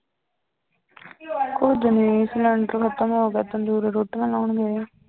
ਕੁੱਝ ਨੀ ਸਿਲੈਂਡਰ ਖ਼ਤਮ ਹੋ ਗਿਆ ਤੰਦੂਰੀ ਰੋਟੀਆਂ ਲਾਉਣ ਗਏ ਆ।